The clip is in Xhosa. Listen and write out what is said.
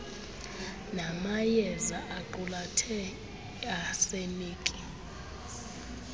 namayeaza aqulathe iarseniki